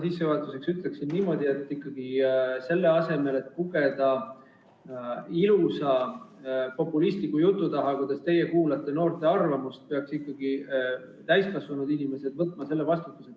Sissejuhatuseks ütlen niimoodi, et selle asemel, et pugeda ilusa populistliku jutu taha, kuidas teie kuulate noorte arvamust, peaks ikkagi täiskasvanud inimesed võtma vastutuse.